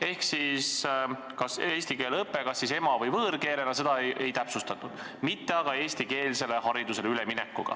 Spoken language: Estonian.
Ehk siis eesti keele õpe kas ema- või võõrkeelena – seda ei täpsustatud –, mitte aga eestikeelsele haridusele üleminek.